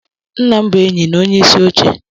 Nna m bụ enyi na onyeisi oche